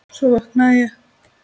Svo vaknaði ég.